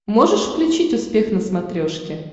можешь включить успех на смотрешке